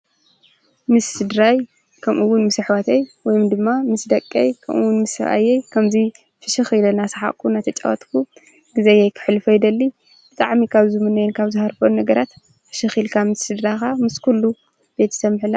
ምስ ስድራይ ከምኡውን ምስ ኣኅዋተይ ወይም ድማ ምስ ደቀይ ከምኡውን ምሰየይ ከምዙይ ፍሽኺ ለናስሓኹ ናተ ጨወትኩ ጊዜይ ኣይክሕልፊ ኣይደሊ ብጥዓሚካ ዝ ምነየን ካብ ዝሃርፈን ነገራት ሕሽኺኢልካብ ምስድራኻ ምስ ኲሉ ቤት ሰምሕላ